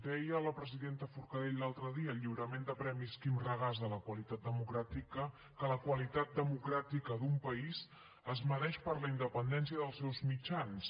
deia la presidenta forcadell l’altre dia al lliurament de premis quim regàs de la qualitat democràtica que la qualitat democràtica d’un país es mesura per la independència dels seus mitjans